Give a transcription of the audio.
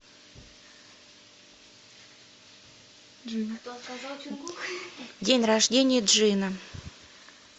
день рождения джина